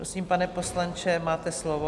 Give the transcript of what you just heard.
Prosím, pane poslanče, máte slovo.